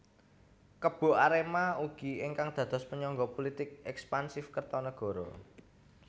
Kebo Arema ugi ingkang dados penyangga pulitik ekspansif Kertanagara